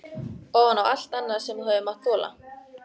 Ofan á allt annað sem þú hefur mátt þola?